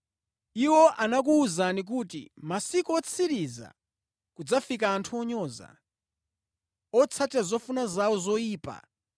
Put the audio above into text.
Iwo anakuwuzani kuti, “Mʼmasiku otsiriza kudzafika anthu onyoza, otsatira zofuna zawo zoyipa.”